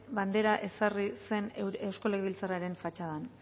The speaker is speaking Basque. bandera ezarri zen eusko legebiltzarraren fatxadan